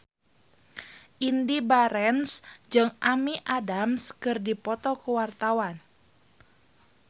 Indy Barens jeung Amy Adams keur dipoto ku wartawan